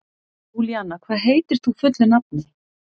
Júlíanna, hvað heitir þú fullu nafni?